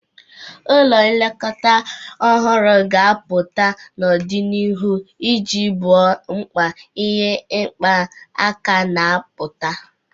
Ụlọ nlekọta ọhụrụ ga-apụta n'ọdịnihu iji gboo mkpa ihe ịma aka na-apụta.